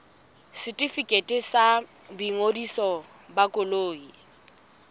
setefikeiti sa boingodiso ba koloi